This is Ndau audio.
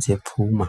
dzepfuma.